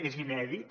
és inèdit